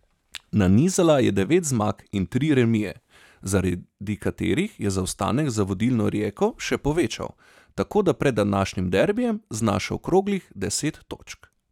Nanizala je devet zmag in tri remije, zaradi katerih se je zaostanek za vodilno Rijeko še povečal, tako da pred današnjim derbijem znaša okroglih deset točk.